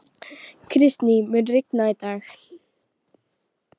Kristý, mun rigna í dag?